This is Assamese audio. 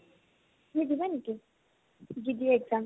তুমি দিবা নেকি BBA exam?